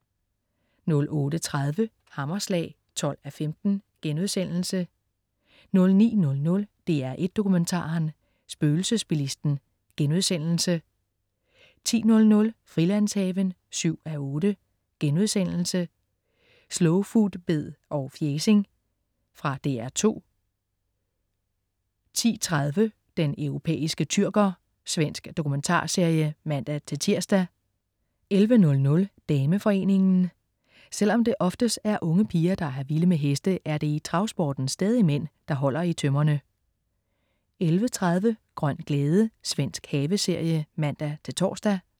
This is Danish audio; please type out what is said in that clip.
08.30 Hammerslag 12:15* 09.00 DR1 Dokumentaren. Spøgelsesbilisten* 10.00 Frilandshaven 7:8.* Slowfoodbed og fjæsing. Fra DR2 10.30 Den europæiske tyrker. Svensk dokumentarserie (man-tirs) 11.00 Dameforeningen. Selv om det oftest er unge piger, der er vilde med heste, er det i travsporten stadig mænd, der holder i tømmerne 11.30 Grøn glæde. Svensk haveserie (man-tors)